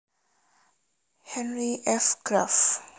Henry F Graff